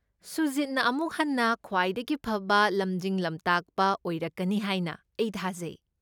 ꯁꯨꯖꯤꯠꯅ ꯑꯃꯨꯛ ꯍꯟꯅ ꯈ꯭ꯋꯥꯏꯗꯒꯤ ꯐꯕ ꯂꯝꯖꯤꯡ ꯂꯝꯇꯥꯛꯄ ꯑꯣꯏꯔꯛꯀꯅꯤ ꯍꯥꯏꯅ ꯑꯩ ꯊꯥꯖꯩ꯫